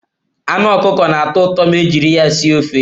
Anu Ọkụkọ na-atọ ụtọ ma ejiri ya sie ofe.